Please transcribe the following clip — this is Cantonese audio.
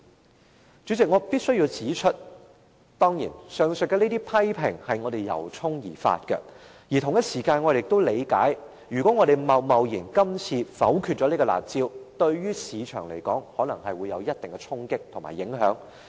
代理主席，我必須指出，上述批評是我們由衷而發的；我們同時亦理解，如果今次貿貿然否決了"辣招"，可能會對市場帶來一定衝擊和影響。